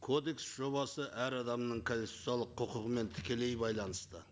кодекс жобасы әр адамның конституциялық құқығымен тікелей байланысты